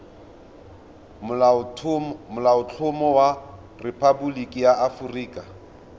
molaotlhomo wa rephaboliki ya aforika